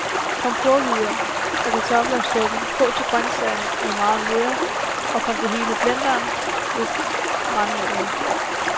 Kom porrehvider og kartofler i suppen, kog til grøntsagerne er meget møre, og kom det hele i blenderen med brændenælderne.